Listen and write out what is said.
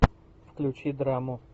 включи драму